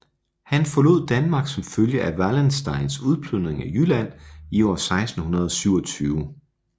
Han forlod Danmark som følge af Wallensteins udplyndring af Jylland i år 1627